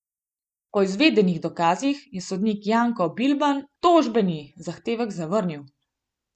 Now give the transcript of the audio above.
Po izvedenih dokazih je sodnik Janko Bilban tožbeni zahtevek zavrnil.